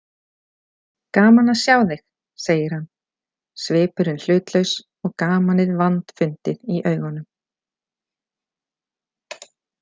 Gaman að sjá þig, segir hann, svipurinn hlutlaus og gamanið vandfundið í augunum.